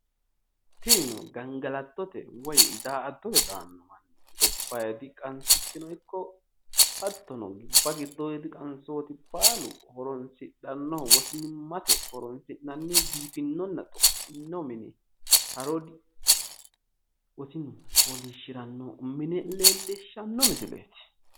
Tinino gangalattote woyi da'attote daanno manni gobbaadi qansichino ikko hattono gobba giddoodi baalu horoonsidhannohu biifino mine leellishanno misileeti